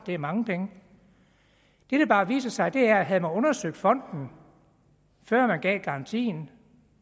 er mange penge det der bare viser sig er at havde man undersøgt fonden før man gav garantien